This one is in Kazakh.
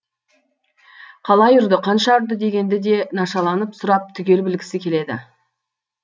қалай ұрды қанша ұрды дегенді де нашаланып сұрап түгел білгісі келеді